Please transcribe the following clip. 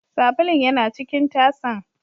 Sabulun yana cikin tasan.